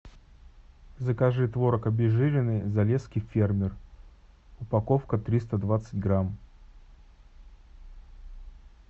закажи творог обезжиренный залесский фермер упаковка триста двадцать грамм